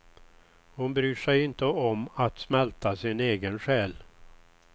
Hon bryr sig inte om att smälta sin egen själ.